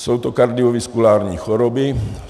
Jsou to kardiovaskulární choroby.